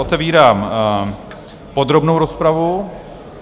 Otevírám podrobnou rozpravu.